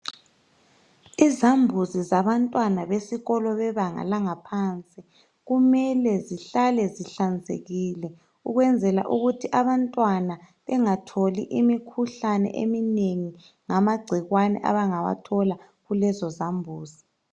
Izambuzi zabantwana besikolo bebanga laphansi kumele zihlale zihlanzekile ukwenzela ukuthi abantwana bengatholi imikhuhlane eminengi ngamagcikwane abangawathola kulezi zambuzi